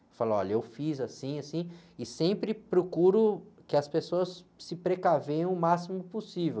Eu falo, olha, eu fiz assim, assim, e sempre procuro que as pessoas se precavenham o máximo possível.